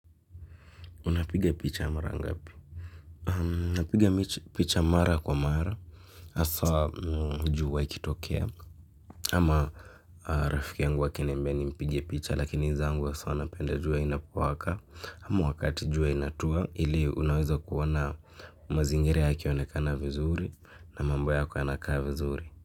Unapiga picha mara ngapi? Unapiga picha mara kwa mara. Hasa jua ikitokea. Ama rafiki yangu akiniamba nimpige picha lakini zangu asa napenda jua inapowaka. Ama wakati jua inatua ili unaweza kuona. Mazingira yakionekana vizuri na mambo yako yanakaa vizuri.